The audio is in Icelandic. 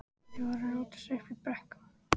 Þeir voru að rótast uppi í brekkum.